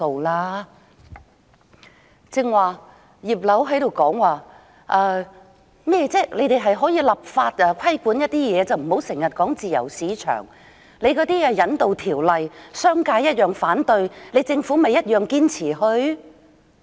剛才"葉劉"說，可以透過立法規管某些事宜，不要經常說自由市場，商界同樣反對修訂《逃犯條例》，政府不也堅持推行？